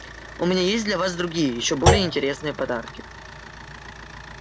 у меня есть для вас другие ещё более интересные подарки